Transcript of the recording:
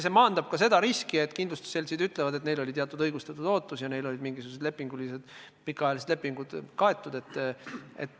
See maandab ka riski, et kindlustusseltsid ütleksid, et neil oli teatud õigustatud ootus ja neil olid mingisugused pikaajalised lepingud kaetud.